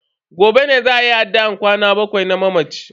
Gobe ne za ayi addu'an kwana bakwai na mamacin.